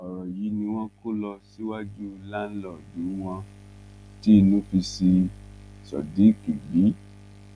ọrọ yìí ni wọn kó lọ síwájú láńlọọdù wọn tí inú fi ṣí sodiq bí